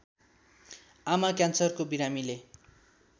आमा क्यान्सरको बिरामीले